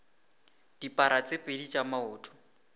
dipara tse pedi tša maoto